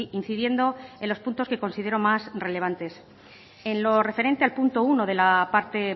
incidiendo en los puntos que considero más relevantes en lo referente al punto uno de la parte